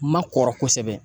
Ma kɔrɔ kosɛbɛ